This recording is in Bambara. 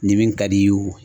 Ni min ka d'i ye o